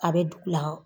A bɛ dugu la